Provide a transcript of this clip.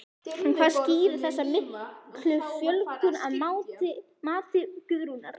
En hvað skýrir þessa miklu fjölgun að mati Guðrúnar?